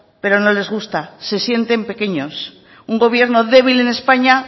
pero no les gusta se sienten pequeños un gobierno débil en españa